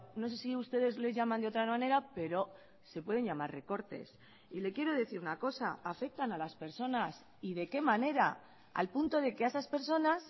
no sé si ustedes les llaman de otra manera pero se pueden llamar recortes y le quiero decir una cosa afectan a las personas y de qué manera al punto de que a esas personas